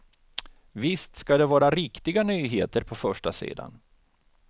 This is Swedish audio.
Visst ska det vara riktiga nyheter på förstasidan.